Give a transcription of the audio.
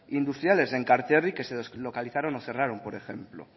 industriales en enkarterri que se les localizaron o cerraron por ejemplo